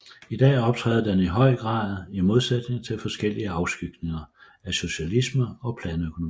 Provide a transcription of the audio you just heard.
I dag optræder den i høj grad i modsætning til forskellige afskygninger af socialisme og planøkonomi